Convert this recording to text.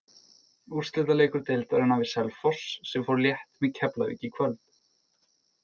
Úrslitaleikur deildarinnar við Selfoss sem fór létt með Keflavík í kvöld.